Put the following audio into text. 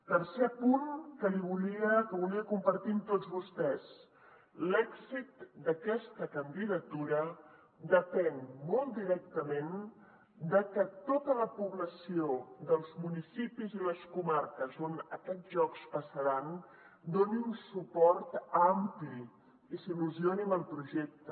tercer punt que volia compartir amb tots vostès l’èxit d’aquesta candidatura depèn molt directament de que tota la població dels municipis i les comarques on aquests jocs passaran doni un suport ampli i s’il·lusioni amb el projecte